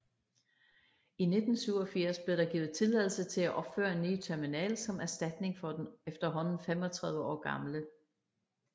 I 1987 blev der givet tilladelse til at opføre en ny terminal som erstatning for den efterhånden 35 år gamle